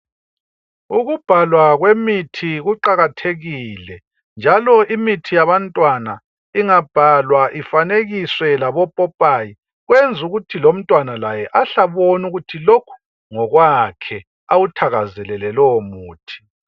Ukubhalwa kwemithi kuqakathekile njalo imithi yabantwana ingabhalwa ifanekiswe labopopayi, kwenza ukuthi lomntwana laye ahle abone ukuthi lokhu ngokwakhe awuthakazelele lowo muthi.